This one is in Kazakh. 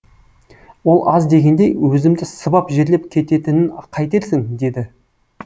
ол аз дегендей өзімді сыбап жерлеп кететінін қайтерсің деді